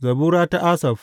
Zabura ta Asaf.